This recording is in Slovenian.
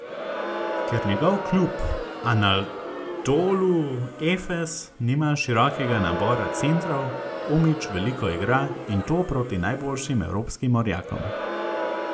Ker njegov klub Anadolu Efes nima širokega nabora centrov, Omić veliko igra, in to proti najboljšim evropskim orjakom.